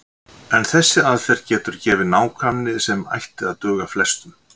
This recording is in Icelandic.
En þessi aðferð getur gefið nákvæmni sem ætti að duga flestum.